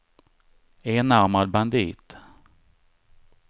enarmad bandit